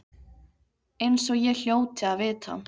Eins og ég hljóti að vita.